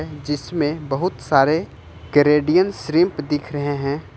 जिसमें बहुत सारे कैनेडियन श्रिंप दिख रहे हैं।